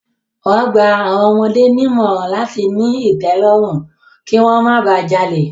Wọ́n gba àwọn ọmọdé nímọ̀ràn láti ní ìtẹ́lọ́rùn, kí wọ́n má ba jalè.